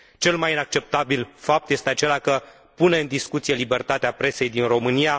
Cel mai inacceptabil fapt este acela că pune în discuție libertatea presei din România.